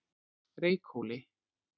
Reykhóli